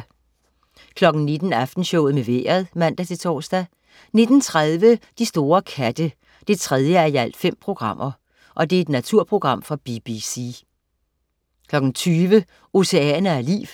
19.00 Aftenshowet med Vejret (man-tors) 19.30 De store katte 3:5. Naturprogram fra BBC 20.00 Oceaner af liv 3:8.